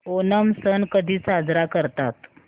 ओणम सण कधी साजरा करतात